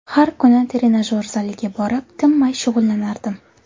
Har kuni trenajyor zaliga borib, tinmay shug‘ullanardim.